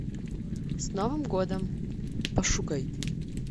с новым годом пошукай